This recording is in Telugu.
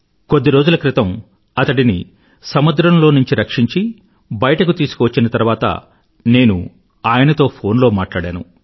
కొద్ది రోజుల క్రితం అతడిని సముద్రంలోంచి రక్షించి బయతకు తీసుకువచ్చిన తరువాత నేను ఆయనతో ఫోన్ లో మాట్లాడాను